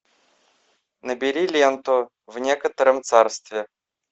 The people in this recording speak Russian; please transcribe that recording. набери ленту в некотором царстве